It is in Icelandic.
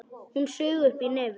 Hún saug upp í nefið.